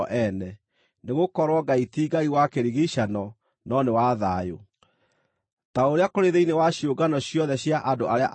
Nĩgũkorwo Ngai ti Ngai wa kĩrigiicano no nĩ wa thayũ. Ta ũrĩa kũrĩ thĩinĩ wa ciũngano ciothe cia andũ arĩa aamũre,